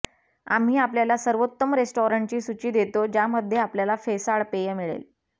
आम्ही आपल्याला सर्वोत्तम रेस्टॉरंट्सची सूची देतो ज्यामध्ये आपल्याला फेसाळ पेय मिळेल